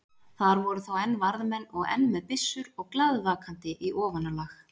Þar voru þá enn varðmenn og enn með byssur og glaðvakandi í ofanálag.